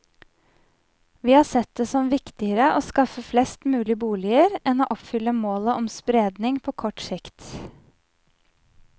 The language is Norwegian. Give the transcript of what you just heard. Vi har sett det som viktigere å skaffe flest mulig boliger enn å oppfylle målet om spredning på kort sikt.